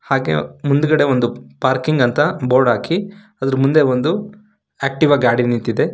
ಹಾಗೆ ಮುಂದುಗಡೆ ಒಂದು ಪಾರ್ಕಿಂಗ್ ಅಂತ ಬೋರ್ಡ್ ಹಾಕಿ ಅದರ ಮುಂದೆ ಒಂದು ಆಕ್ಟಿವ ಗಾಡಿ ನಿಂತಿದೆ.